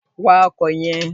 Wa ọkò yen